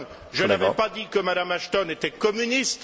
Je n'avais pas dit que M me Ashton était communiste.